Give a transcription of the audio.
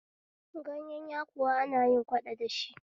Gayen yakuwa ana yin kwaɗo dashi